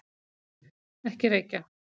Ekki reykja!